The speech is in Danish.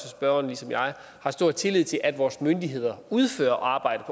spørgeren ligesom jeg har stor tillid til at vores myndigheder udfører arbejdet